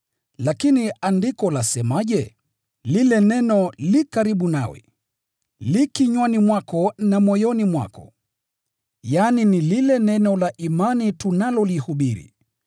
Lakini andiko lasemaje? “Lile neno liko karibu nawe, liko kinywani mwako na moyoni mwako,” yaani, lile neno la imani tunalolihubiri.